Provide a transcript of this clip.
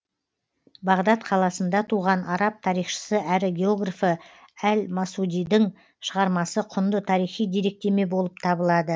бағдат қаласында туған араб тарихшысы әрі географы әл масудидің шығармасы құнды тарихи деректеме болып табылады